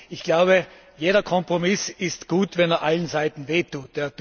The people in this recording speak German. Ich glaube, jeder Kompromiss ist gut, wenn er allen Seiten wehtut.